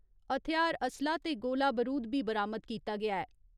हथ्यार असलाह् ते गोला बारूद बी बरामद कीता गेआ ऐ।